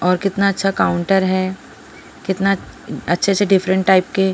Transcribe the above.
और कितना अच्छा काउंटर है कितना अच्छे से डिफरेंट टाइप के.--